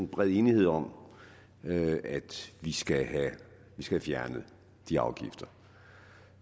bred enighed om at vi skal have fjernet de afgifter